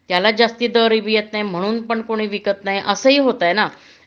त्याला जास्ती दर येत नाही म्हणून पण कुणी विकत नाही असही होतंय ना